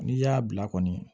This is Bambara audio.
N'i y'a bila kɔni